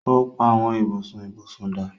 o pá Àwọn ibùsùn ibusùn dá.